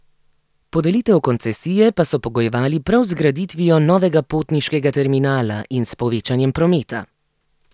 Podelitev koncesije pa so pogojevali prav z zgraditvijo novega potniškega terminala in s povečanjem prometa.